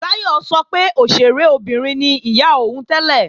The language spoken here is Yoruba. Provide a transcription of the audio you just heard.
Táyọ̀ sọ pé òṣèré obìnrin ni ìyá òun tẹ́lẹ̀